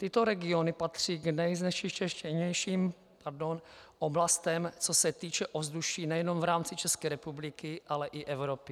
Tyto regiony patří k nejznečištěnějším oblastem, co se týče ovzduší nejenom v rámci České republiky, ale i Evropy.